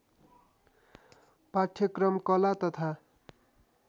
पाठ्यक्रम कला तथा